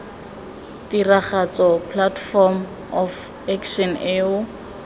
tiragatso platform of action eo